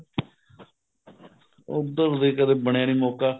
ਉੱਧਰ ਵੀ ਕਦੇ ਬਣਿਆ ਨੀ ਮੋਕਾ